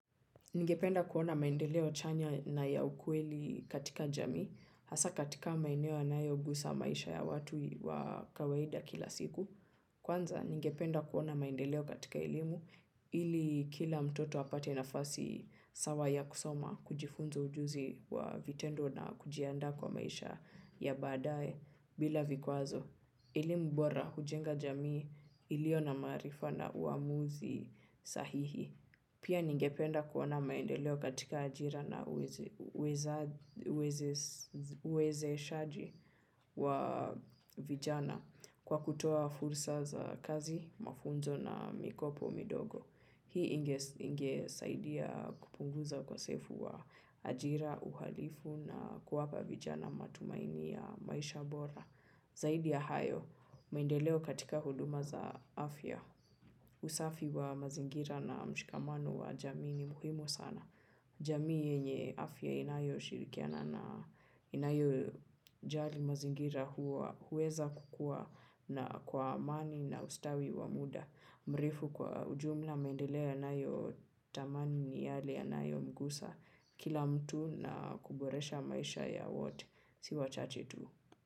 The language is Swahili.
Ningependa kuona maendeleo chanya na ya ukweli katika jamii, hasa katika maeneo yanayogusa maisha ya watu wa kawaida kila siku. Kwanza ningependa kuona maendeleo katika elimu, ili kila mtoto apate nafasi sawa ya kusoma kujifunza ujuzi wa vitendo na kujiandaa kwa maisha ya badae bila vikwazo. Elimu bora hujenga jamii iliyo na maarifa na uamuzi sahihi pia ningependa kuona maendeleo katika ajira na uwezeshaji wa vijana kwa kutoa fursa za kazi, mafunzo na mikopo midogo. Hii ingesaidia kupunguza kwa ukosefu wa ajira, uhalifu na kuwapa vijana matumaini ya maisha bora. Zaidi ya hayo, maendeleo katika huduma za afya. Usafi wa mazingira na mshikamano wa jamii ni muhimu sana jamii yenye afya inayoshirikiana na inayojali mazingira huweza kukua na kwa amani na ustawi wa muda. Mrefu kwa ujumla, mendeleo yanayotamani ni yale ya nayo mgusa kila mtu na kuboresha maisha ya wote. Si wachache tu.